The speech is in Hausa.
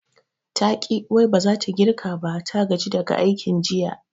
Taƙi wai baza ta girka ba, ta gaji daga aikin jiya